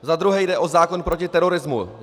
Za druhé jde o zákon proti terorismu.